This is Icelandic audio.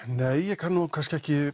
nei ég kann nú kannski